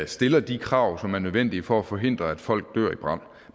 stiller de krav som er nødvendige for at forhindre at folk dør i brande